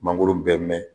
Mangoro bɛ mɛn